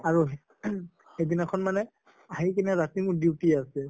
আৰু ing সেইদিনাখন মানে আহি পিনে ৰাতি মোৰ duty আছে